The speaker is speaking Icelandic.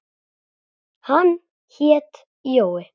Hann hét Jói.